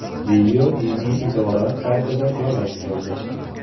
Video diniy idora saytida joylashtirildi .